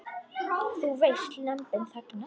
Þú veist, Lömbin þagna.